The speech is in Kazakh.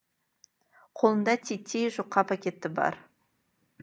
қолында титтей жұқа пакеті бар